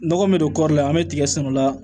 Nɔgɔ min don kɔri an bɛ tigɛ sɛnɛ o la